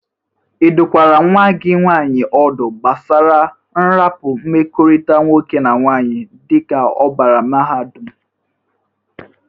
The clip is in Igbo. Ị dụkwara nwa gi nwaanyị ọdụ gbasara nrịpa mmekọrịta nwoke na nwaanyị dịka ọ bara mahadụm?